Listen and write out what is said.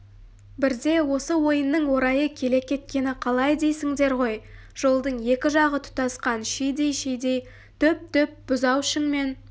бірде осы ойынның орайы келе кеткені қалай дейсіңдер ғой жолдың екі жағы тұтасқан шидей-шидей түп-түп бұзаушіңмен